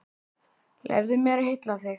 Leyfðu mér að hylla þig.